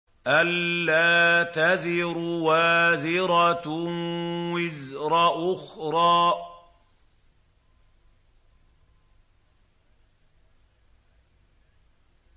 أَلَّا تَزِرُ وَازِرَةٌ وِزْرَ أُخْرَىٰ